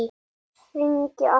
Hringi aftur!